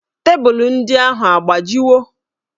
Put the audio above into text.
Tebụlụ ndị ahụ a gbajiwo?